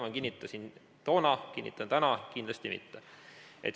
Ma kinnitasin toona ja kinnitan täna, et kindlasti mitte.